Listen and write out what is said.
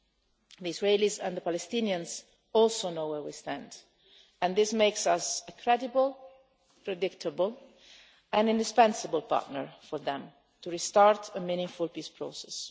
The Israelis and the Palestinians also know where we stand and this makes us a credible, predictable and indispensable partner for them to restart a meaningful peace process.